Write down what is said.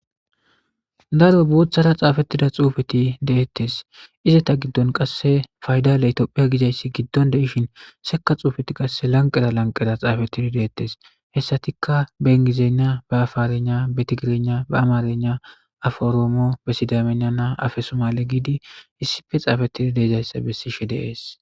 daro booththara xaafettida xuufeti deettes izata giddon qasse faydale tophia gidayssi giddon deishin sekka xuufeti qasse lanqera lanqera xaafettidi deettes hessatikka bengizeena ba afaarenya betigirena ba amarena aforoomo be sidamenana afesomale giidi hissife xaafettida deejayssa bessishe deees